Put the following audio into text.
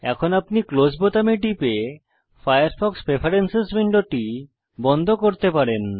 এখন আপনি ক্লোজ বোতামে টিপে ফায়ারফক্স প্রেফারেন্স উইন্ডোটি বন্ধ করতে পারেন